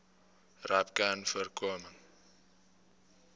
rapcanvoorkoming